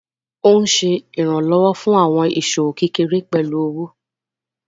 Ó ń Ṣe ìrànlọ́wọ́ fún àwọn ìṣòwò kékeré pẹ̀lú owó.